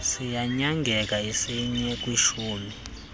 siyanyangeka isinye kwishumi